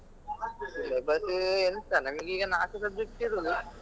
Syllabus ಎಂಥ ನಮ್ಗೀಗ ನಾಲ್ಕು subject ಇರುದು.